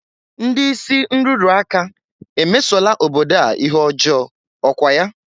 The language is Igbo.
Ndị isi nrụrụ aka emesola obodo a ihe ọjọọ, ọ kwa ya?